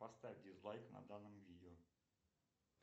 поставь дизлайк на данном видео